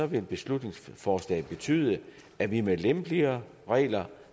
vil beslutningsforslaget betyde at vi med lempeligere regler